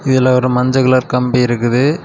இதுல ஒரு மஞ்ச கலர் கம்பி இருக்குது.